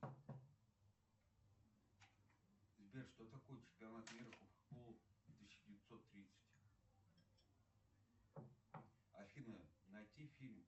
сбер что такое чемпионат мира по футболу тысяча девятьсот тридцать афина найти фильм